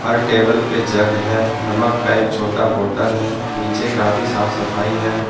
हर table पे jug है नमक का एक छोटा बोतल है नीचे काफी साफ सफाई है।